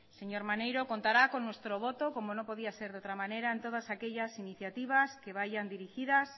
señor maneiro contará con nuestro voto como no podía ser de otra manera en todas aquellas iniciativas que vayan dirigidas